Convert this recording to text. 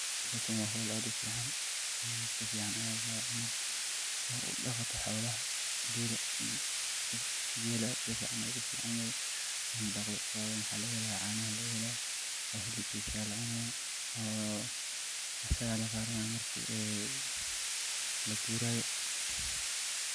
Howsha wa howl aad ufican safican aya laraba inad udaqato xolaha gela safican ayas uficin yahay in ladaqdo wayo waxa laga hela canaha ayaga lagahela o helabkiisa aya lacunaya oo asaga lararana marki lagurayo.